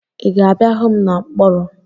Ị ga-abịa hụ m na mkpọrọ?